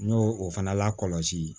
N y'o o fana lakɔlɔsi